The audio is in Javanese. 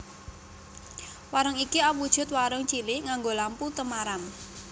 Warung iki awujud warung cilik nganggo lampu temaram